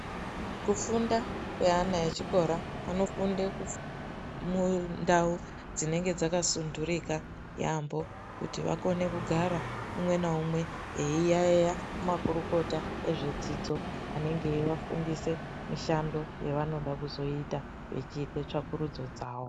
Kufunda kweana echikora anofunda mundau dzinenge dzakasunturika yaambho kuti vakone kugara umwe naumwe eiyaeya kumakurukota ezvedzidzo anenge eivafundisa mishando yevanoda kuzoita vechiite tsvakurudzo dzavo.